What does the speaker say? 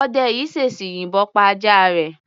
Ọdẹ yìí ṣèṣì yìbọn pa ajá rẹ̀.